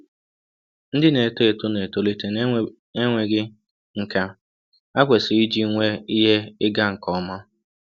Ndị na-eto eto na-etolite n'enweghị nkà ha kwesịrị iji nwee ihe ịga nke ọma.